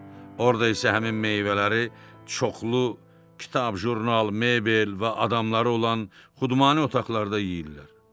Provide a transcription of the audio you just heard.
Orda isə həmin meyvələri çoxlu kitab, jurnal, mebel və adamları olan Xudmani otaqlarda yeyirdilər.